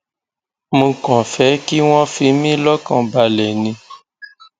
mo kàn fẹ kí wọn fi mí lọkàn balẹ ni